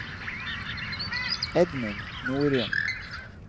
Edmund Norum